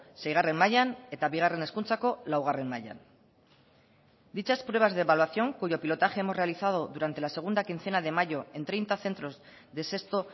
seigarren mailan eta bigarren hezkuntzako laugarren mailan dichas pruebas de evaluación cuyo pilotaje hemos realizado durante la segunda quincena de mayo en treinta centros de sexto